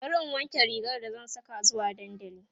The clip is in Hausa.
bari in wanke rigar da zan Saka zuwa dandali